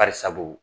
Barisabu